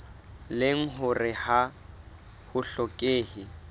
leng hore ha ho hlokehe